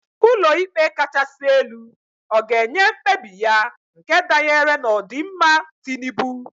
Ulo ikpe kachasi elu ọ ga-enye mkpebi ya nke danyere n'odimma Tinubu?